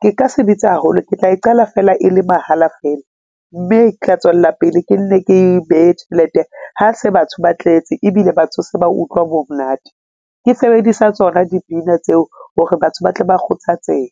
ke ka se bitse haholo, ke tla e qala fela e le mahala feela mme ketla tswella pele ke nne ke behe tjhelete. Ha se batho ba tletse ebile batho se ba utlwa bo m'nate ke sebedisa tsona dipina tseo hore batho ba tle ba kgothatsehe.